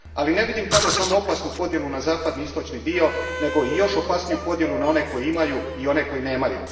Ali ne vidim tamo samo opasnu podjelu na zapadni i istočni dio, nego i još opasniju podjelu na one koji imaju i one koji nemaju.